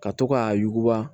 Ka to k'a yuguba